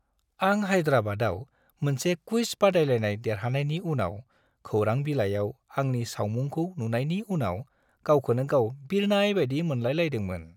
आं हायद्राबादाव मोनसे कुइज बादायलायनाय देरहानायनि उनाव खौरां बिलाइआव आंनि सावमुंखौ नुनायनि उनाव गावखौनो गाव बिरनाय बायदि मोनलाय लायदोंमोन।